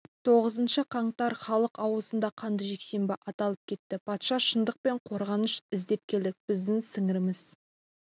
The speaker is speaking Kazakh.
тоғызыншы қаңтар халық аузында қанды жексенбі аталып кетті патша шындық пен қорғаныш іздеп келдік біздің сіңіріміз